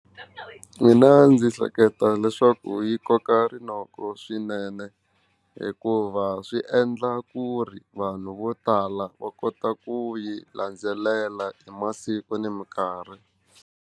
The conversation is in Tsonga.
Mina ndzi hleketa leswaku yi koka rinoko swinene hikuva swi endla ku ri vanhu vo tala va kota ku yi landzelela hi masiku ni mikarhi.